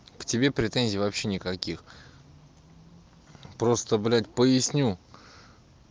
к тебе претензий вообще никаких просто блять поясню